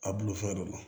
A bulu fɛn do